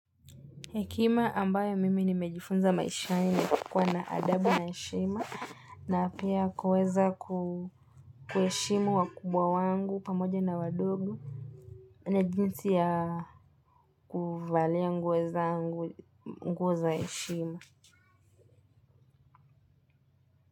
Hekima ambayo mimi nimejifunza maishaini ni kuwa na adabu na heshima na pia kuweza kuheshimu wakubwa wangu pamoja na wadogo. Na jinsi ya kuvalia nguo zangu nguo za heshima.